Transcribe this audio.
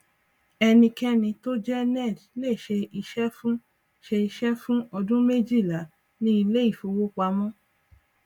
enikeni tó jẹ ned lè ṣe iṣẹ fún ṣe iṣẹ fún ọdún méjìlá ní ilé ifówopàmọ